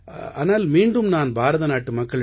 ஆனால் மீண்டும் நான் பாரதநாட்டு மக்களிடம்